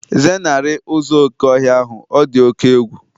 Zenarị ụzọ oké ọhịa ahụ, ọ dị oke egwu